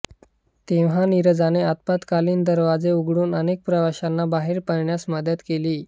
तेव्हा नीरजाने आपत्कालीन दरवाजा उघडून अनेक प्रवाशांना बाहेर पळण्यास मदत केली